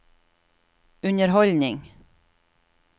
underholdning